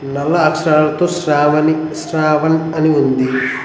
నల్ల అక్షరాలతో శ్రావణి శ్రావన్ అని ఉంది.